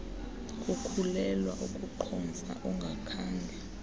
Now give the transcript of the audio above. kukhulelwa ukuqhomfa ungakhange